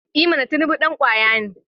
I mana! Tinubu dan kwaya ne.